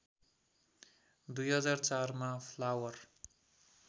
२००४ मा फ्लावर